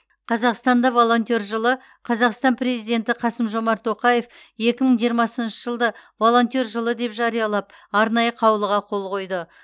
қазақстанда волонтер жылы қазақстан президенті қасым жомарт тоқаев екі мың жиырмасыншы жылды волонтер жылы деп жариялап арнайы қаулыға қол қойды